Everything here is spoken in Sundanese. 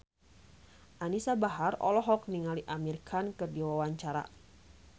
Anisa Bahar olohok ningali Amir Khan keur diwawancara